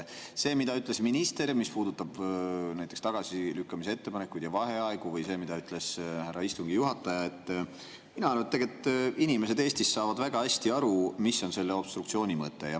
See, mida ütles minister, mis puudutab näiteks tagasilükkamise ettepanekuid ja vaheaegu, või see, mida ütles härra istungi juhataja – mina arvan, et tegelikult Eesti inimesed saavad väga hästi aru, mis on selle obstruktsiooni mõte.